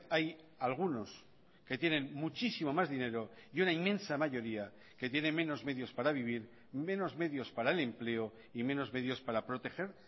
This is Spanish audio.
hay algunos que tienen muchísimo más dinero y una inmensa mayoría que tiene menos medios para vivir menos medios para el empleo y menos medios para proteger